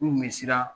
K'u kun bɛ siran